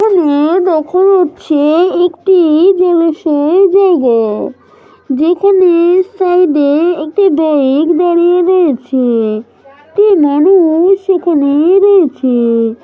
এখানে দেখা যাচ্ছে একটি জলাশয় জায়গা যেখানে সাইড এ একটি বাইক দাঁড়িয়ে রয়েছে একটি মানুষ সেখানে রয়েছে।